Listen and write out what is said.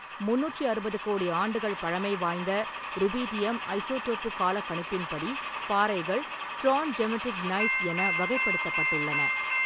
முந்நூற்றி அறுபது கோடி ஆண்டுகள் பழமை வாய்ந்த, ருபீடியம் ஐசோடோப்புக் காலக்கணிப்பின்படி, பாறைகள் டிராண்ட்ஜெமெடிக் நைஸ் என வகைப்படுத்தப்பட்டுள்ளன.